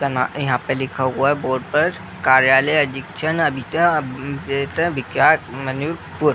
उसका नाम यहाँ पे लिख हुआ है बोर्ड पर कार्यालय